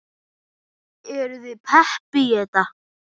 Eruð þið pepp í þetta?